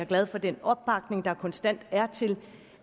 glad for den opbakning der konstant er til